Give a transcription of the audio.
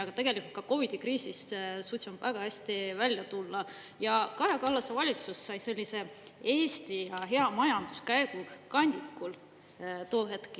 Aga tegelikult ka COVID-i kriisist suutsime väga hästi välja tulla ja Kaja Kallase valitsus sai sellise Eesti majanduse hea käekäigu kandikul too hetk.